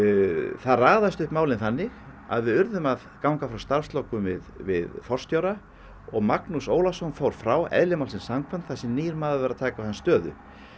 það raðast upp málin þannig að við urðum að ganga frá starfslokum við við forstjóra og Magnús Ólason frá eðli málsins samkvæmt þar sem nýr maður var að taka við hans stöðu